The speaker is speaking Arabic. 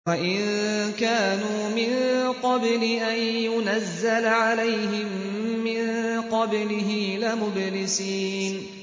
وَإِن كَانُوا مِن قَبْلِ أَن يُنَزَّلَ عَلَيْهِم مِّن قَبْلِهِ لَمُبْلِسِينَ